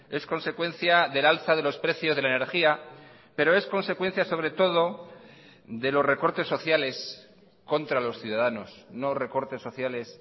es consecuencia del alza de los precios de la energía pero es consecuencia sobre todo de los recortes sociales contra los ciudadanos no recortes sociales